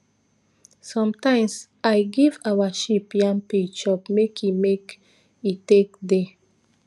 sometimes i give our sheep yam peel chop make e make e take dey